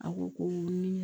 A ko ko ni